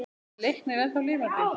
Er Leiknir ennþá lifandi?